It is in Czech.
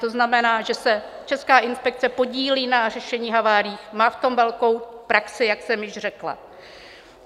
To znamená, že se Česká inspekce podílí na řešení havárií, má v tom velkou praxi, jak jsem již řekla.